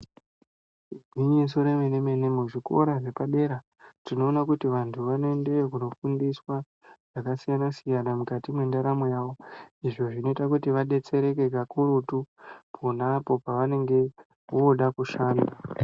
Igwinyiso remene-mene muzvikora zvepadera tinoona kuti vantu vanoendeyo kunofundiswa zvakasiyana-siyana mukati mendaramo yavo. Izvo zvinoita kuti vabetsereke kakurutu ponapo pavanenge voda kushanda.